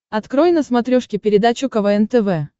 открой на смотрешке передачу квн тв